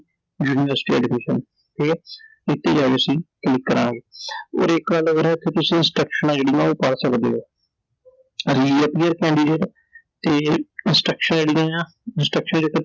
university Admission ਠੀਕ ਐ ਤੇ ਅਸੀਂ click ਕਰਾਂਗੇ I ਔਰ ਇਕ ਗੱਲ ਹੋਰ ਐ ਕਿ ਤੁਸੀਂ Instructions ਆ ਜਿਹੜੀਆਂ ਉਹ ਪੜ੍ਹ ਸਕਦੇ ਓ I Re-appear ਤੇ Instructions ਜਿਹੜੀਆਂ ਆਂ Instructions